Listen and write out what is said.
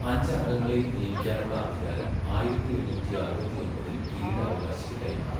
അഞ്ച് അംഗങ്ങളേയും നിയമിക്കാനുള്ള അധികാരം ആയിരത്തി എണ്ണൂറ്റി അറുപത്തിയൊമ്പതിൽ കിരീടാവകാശിക്ക് കൈമാറി.